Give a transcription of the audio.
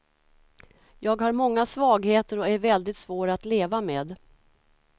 Jag har många svagheter och är väldigt svår att leva med.